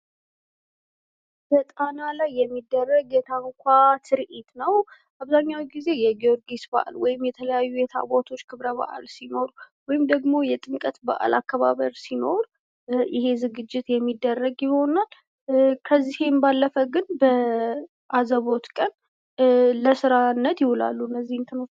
በጣና ላይ የሚደረግ የታንኳ ትርዒት ነው። አብዛኛውን ጊዜ የ ጊርጊስስ በአል መወይም የተለያዩ የታቦቶች ክብረ በአል ሲኖር ወይም ደግሞ የጥምቀት በአል አከባበር ሲኖር ይሄ ዝግጀት የሚደረግ ይሆናል ከዚህም ባለፈ ግን በአዘቦት ቀን ለስራነት ይውላሉ እነዚህ እንትኖች ።